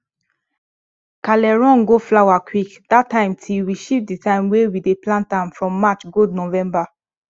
kale run go flower quick that time till we shift the time wey we dey plant am from march go november